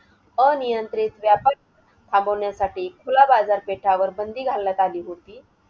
अनियंत्रित व्यापारी थांबवण्यासाठी खुला बाजार पेठावर बंदी घालण्यात आली होती.